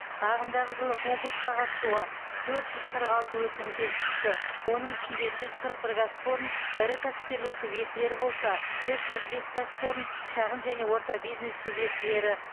ағымдағы жылы конкурсқа қатысуға төрт жүз қырық алты өтінім келіп түсті оның ішінде жүз қырық бір кәсіпорын ірі кәсіпкерлік субъектілері болса үш жүз бес кәсіпорын шағын және орта бизнес субъектілері